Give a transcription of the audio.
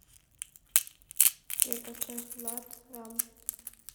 сбер поставь влад рамм